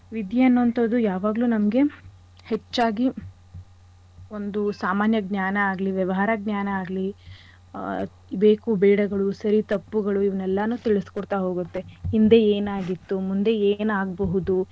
ವಿದ್ಯೆ ಅನ್ನೋ ಅಂಥದ್ದು ಯಾವಾಗ್ಲು ನಮ್ಗೆ ಹೆಚ್ಚಾಗಿ ಒಂದು ಸಾಮಾನ್ಯ ಜ್ಞಾನ ಆಗ್ಲಿ, ವ್ಯವಹಾರ ಜ್ಞಾನ ಆಗ್ಲಿ, ಆ ಬೇಕು ಬೇಡಗಳು ಸರಿ ತಪ್ಪುಗಳು ಇವ್ನೆಲ್ಲಾನು ತಿಳಿಸ್ಕೊಡ್ತಾ ಹೋಗತ್ತೆ. ಹಿಂದೆ ಏನಾಗಿತ್ತು ಮುಂದೆ ಏನಾಗ್ಬಹುದು.